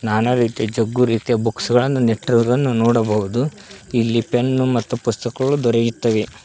ನಾನಾ ರೀತಿಯ ಜಗ್ಗು ರೀತಿಯ ಬುಕ್ಸ್ ಗಳನ್ನು ನೆಟ್ಟಿರುವುದನ್ನು ನೋಡಬಹುದು ಇಲ್ಲಿ ಪೆನ್ನು ಮತ್ತು ಪುಸ್ತಕಗಳು ದೊರೆಯುತ್ತವೆ.